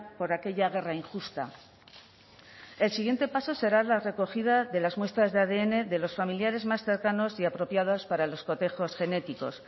por aquella guerra injusta el siguiente paso será la recogida de las muestras de adn de los familiares más cercanos y apropiadas para los cotejos genéticos